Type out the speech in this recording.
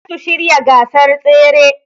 Zasu shirya gasar tsere